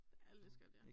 Ja det lidt skørt ja